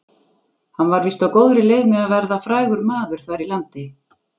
Hann var víst á góðri leið með að verða frægur maður þar í landi.